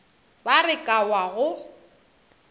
ba re ka wa go